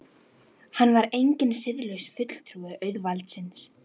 Hann var enginn siðlaus fulltrúi auðvaldsins.